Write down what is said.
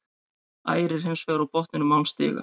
Ægir er hins vegar á botninum án stiga.